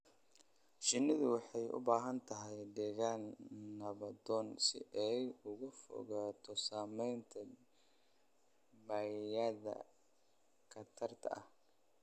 Shinnidu waxay u baahan tahay deegaan nabdoon si ay uga fogaato saamaynta bay'ada khatarta ah.